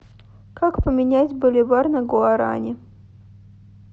как поменять боливар на гуарани